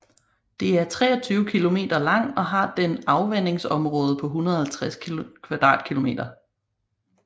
Det er 23 kilometer lang og har den afvandingsområde på 150 km2